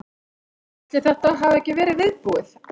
Ætli þetta hafi ekki verið viðbúið.